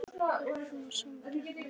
En af hverju svona samkeppni?